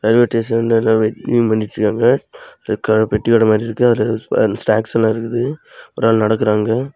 Railway ஸ்டேஷன்ல எல்லா waiting பண்ணிட்டு இருக்காங்க. ஒரு அக்கா பெட்டியோட மாறி இருக்கு அதுல அந்த ஸ்நாக்ஸ்லாம் இருக்ககுது. ஒரு ஆள் நடக்குறாங்க.